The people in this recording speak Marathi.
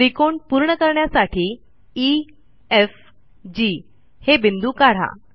त्रिकोण पूर्ण करण्यासाठी ई एफ जी हे बिंदू काढा